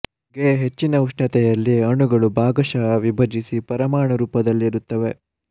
ಗೆ ಹೆಚ್ಚಿನ ಉಷ್ಣತೆಯಲ್ಲಿ ಅಣುಗಳು ಭಾಗಶಃ ವಿಭಜಿಸಿ ಪರಮಾಣು ರೂಪದಲ್ಲಿರುತ್ತವೆ